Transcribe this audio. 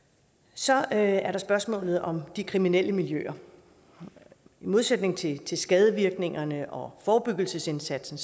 så er er der spørgsmålet om de kriminelle miljøer i modsætning til til skadevirkningerne og forebyggelsesindsatsen